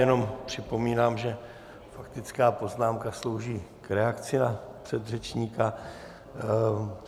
Jenom připomínám, že faktická poznámka slouží k reakci na předřečníka.